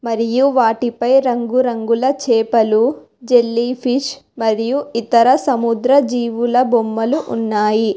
మరియు వాటిపై రంగురంగుల చేపలు జెల్లీ ఫిష్ మరియు ఇతర సముద్ర జీవుల బొమ్మలు ఉన్నాయి.